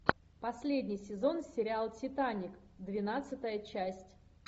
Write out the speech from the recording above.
последний сезон сериал титаник двенадцатая часть